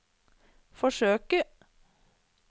forsøke